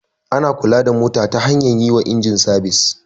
Ana kula da mota ta hanyar yi wa inji sabis.